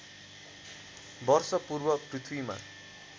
वर्ष पूर्व पृथ्वीमा